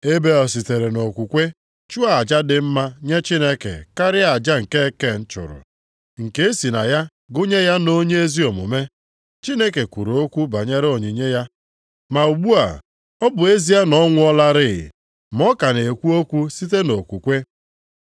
Ebel sitere nʼokwukwe chụọ aja dị mma nye Chineke karịa aja nke Ken chụrụ; nke e si na ya gụnye ya nʼonye ezi omume. Chineke kwuru okwu banyere onyinye ya. Ma ugbu a, ọ bụ ezie na ọ nwụọlarị ma ọ ka na-ekwu okwu site nʼokwukwe.